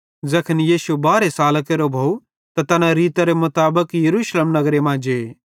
ज़ैखन यीशु बारहे सालां केरो भोव त तैना रीतरे मुताबिक यरूशलेम नगरे मां जे